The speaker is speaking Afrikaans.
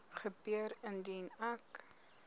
gebeur indien ek